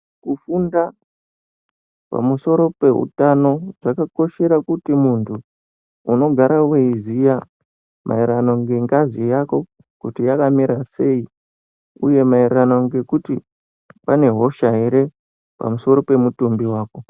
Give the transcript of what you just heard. Kufunda pamusoro peutano zvakakoshera kuti muntu unogara weiziya maerano ngengazi yako kuti yakamira sei uye maererano ngekuti pane hosha ere pamusoro pemutumbi wako.